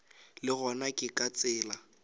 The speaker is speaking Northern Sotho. le gona ke ka tsela